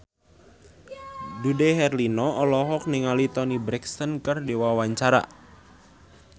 Dude Herlino olohok ningali Toni Brexton keur diwawancara